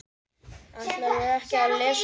Ætlarðu ekki að lesa kindin?